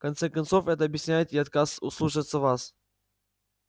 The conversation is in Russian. в конце концов это объясняет и его отказ слушаться вас